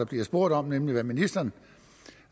bliver spurgt om nemlig hvad ministeren